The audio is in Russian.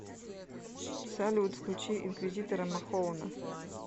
салют включи инквизитора махоуна